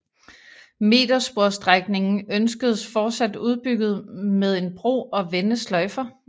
Metersporsstrækningen ønskedes fortsat udbygget med en bro og vendesløjfer